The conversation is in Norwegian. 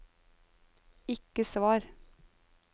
ikke svar